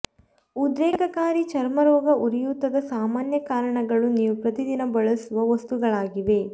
ಉದ್ರೇಕಕಾರಿ ಚರ್ಮರೋಗ ಉರಿಯೂತದ ಸಾಮಾನ್ಯ ಕಾರಣಗಳು ನೀವು ಪ್ರತಿದಿನ ಬಳಸುವ ವಸ್ತುಗಳಾಗಿವೆ